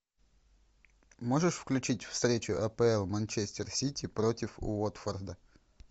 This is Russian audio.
можешь включить встречу апл манчестер сити против уотфорда